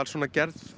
gerð